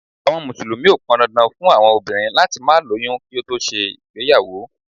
Àwọn Mùsùlùmí o pọn dandan fún obìnrin láti má lóyún kí ó tó ṣe ìgbéyàwó.